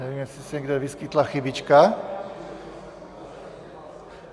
Nevím, jestli se někde nevyskytla chybička?